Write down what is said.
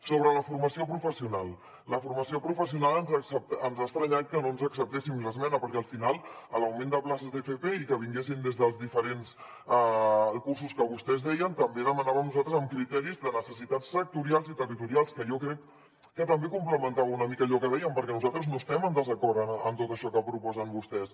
sobre la formació professional en la formació professional ens ha estranyat que no ens acceptessin l’esmena perquè al final a l’augment de places d’fp i que vinguessin des dels diferents cursos que vostès deien també demanàvem nosaltres amb criteris de necessitats sectorials i territorials que jo crec que també complementava una mica allò que dèiem perquè nosaltres no estem en desacord amb tot això que proposen vostès